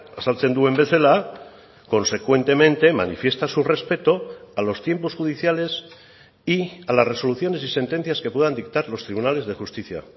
azaltzen duen bezala consecuentemente manifiesta su respeto a los tiempos judiciales y a las resoluciones y sentencias que puedan dictar los tribunales de justicia